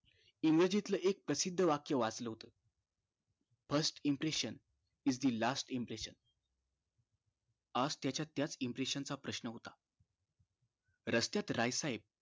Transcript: इंग्रजीतलं एक प्रसिद्ध वाक्य वाचाल होत first impression is the last impression आज त्याच्या त्याच impression च प्रश्न होता रस्त्यात राय साहेब